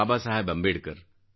Baba Saheb Ambedkar